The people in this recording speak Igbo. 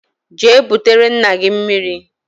Jee butere nna gi mmiri!